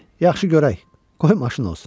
Yaxşı görək, qoy maşın olsun.